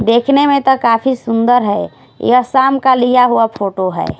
देखने में तो काफी सुंदर है यह शाम का लिया हुआ फोटो है।